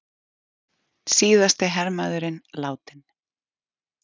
Síðasti hermaðurinn látinn